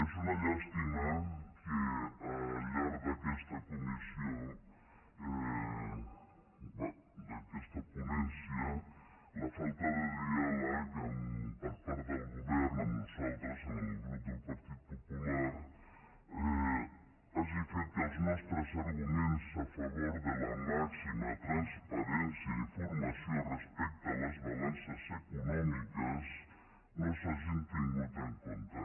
és una llàstima que al llarg d’aquesta ponència la falta de diàleg per part del govern amb nosaltres amb el grup del partit popular hagi fet que els nostres arguments a favor de la màxima transparència i informació respecte a les balances econòmiques no s’hagin tingut en compte